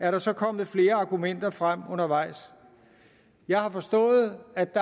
er der så kommet flere argumenter frem undervejs jeg har forstået at